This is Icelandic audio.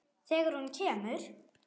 Þegar hún kemur.